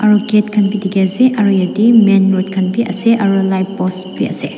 aro gate khan b dikey ase aro etey main road khan b ase aro etey light post b ase.